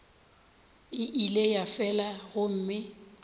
e ile ya fela gomme